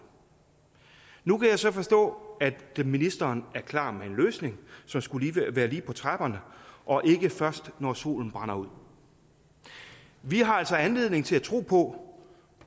nu kan jeg så forstå at ministeren er klar med en løsning som skulle være lige på trapperne og ikke først når solen brænder ud vi har altså anledning til at tro på